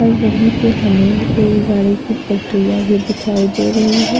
और वहीं पे हमें रेलगाड़ी की पटरियाँ भी दिखाई दे रही हैं।